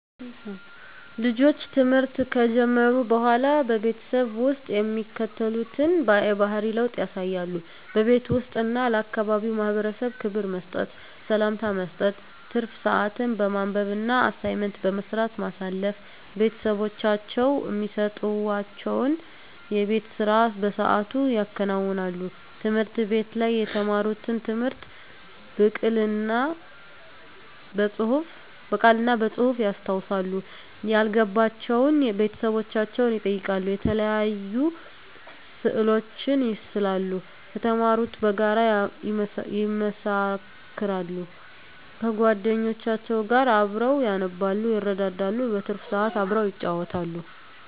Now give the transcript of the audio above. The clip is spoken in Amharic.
ልጆች ትምህርት ከጀመሩ በሆላ በቤተሰብ ውስጥ የሚከተሉትን የባህሪ ለውጥ ያሳያሉ:-በቤት ውስጥ እና ለአካባቢው ማህበረሰብ ክብር መስጠት፤ ሰላምታ መስጠት፤ ትርፍ ስአትን በማንበብ እና አሳይመንት በመስራት ማሳለፍ፤ ቤተሰቦቻቸው እሚሰጡዋቸውን የቤት ስራ በስአቱ ያከናውናሉ፤ ትምህርት ቤት ላይ የተማሩትን ትምህርት ብቅል እና በጹህፍ ያስታውሳሉ፤ ያልገባቸውን ቤተሰቦቻቸውን ይጠይቃሉ፤ የተለያዩ ስእሎችን ይስላሉ ከተማሩት ጋር ያመሳክራሉ፤ ከጎደኞቻቸው ጋር አብረው ያነባሉ ይረዳዳሉ። በትርፍ ስአት አብረው ይጫወታሉ።